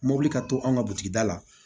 Mobili ka to an ka butigida la